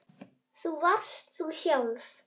Þú varst þú sjálf.